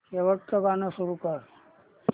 शेवटचं गाणं सुरू कर